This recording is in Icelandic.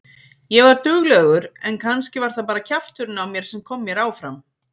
Ég var duglegur en kannski var það bara kjafturinn á mér sem kom mér áfram.